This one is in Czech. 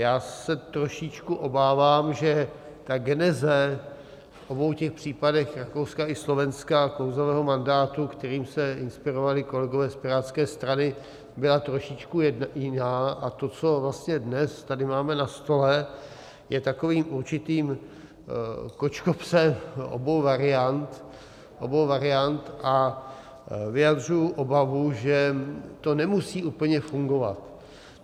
Já se trošičku obávám, že ta geneze v obou těch případech, Rakouska i Slovenska, klouzavého mandátu, kterým se inspirovali kolegové z Pirátské strany, byla trošičku jiná, a to, co vlastně dnes tady máme na stole, je takovým určitým kočkopsem obou variant a vyjadřuji obavu, že to nemusí úplně fungovat.